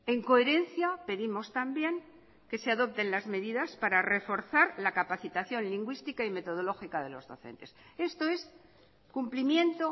en coherencia pedimos también que se adopten las medidas para reforzar la capacitación lingüística y metodológica de los docentes esto es cumplimiento